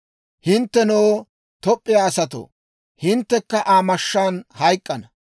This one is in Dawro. Hinttenoo, Toop'p'iyaa asatoo, hinttekka ta mashshaan hayk'k'ana.